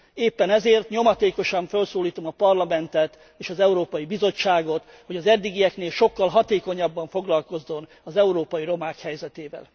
Éppen ezért nyomatékosan fölszólítom a Parlamentet és az Európai Bizottságot, hogy az eddigieknél sokkal hatékonyabban foglalkozzon az európai romák helyzetével.